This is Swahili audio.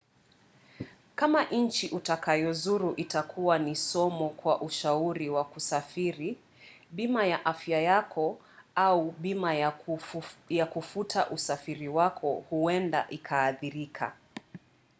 kama nchi utakayozuru itakua ni somo kwa ushauri wa kusafiri bima ya afya yako au bima ya kufuta usafiri wako huenda ikaathirika